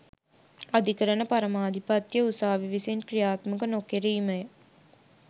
අධිකරණ පරමාධිපත්‍යය උසාවි විසින් ක්‍රියාත්මක නො කෙරීම ය